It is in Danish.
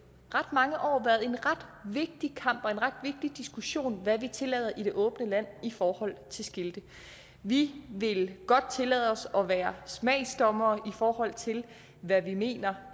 ret mange år været en ret vigtig kamp og en ret vigtig diskussion hvad vi tillader i det åbne land i forhold til skilte vi vil godt tillade os at være smagsdommere i forhold til hvad vi mener